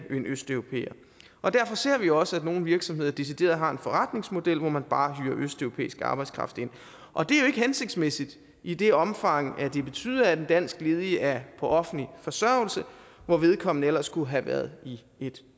østeuropæer derfor ser vi også at nogle virksomheder decideret har en forretningsmodel hvor man bare hyrer østeuropæisk arbejdskraft ind og det er jo ikke hensigtsmæssigt i det omfang at det betyder at en dansk ledig er på offentlig forsørgelse hvor vedkommende ellers skulle have været i et